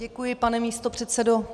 Děkuji, pane místopředsedo.